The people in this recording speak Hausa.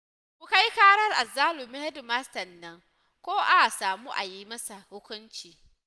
Ku kai ƙarar azzalumin hedimastan nan ko a samu a yi masa hukunci